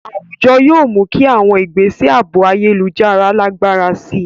Àwùjọ yóò mú kí àwọn ìgbésẹ̀ ààbò ayélujára lágbára sí i.